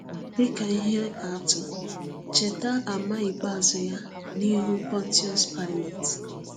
Dị ka ihe atụ, cheta àmà ikpeazụ ya n’ihu Pọntiọs Paịlet.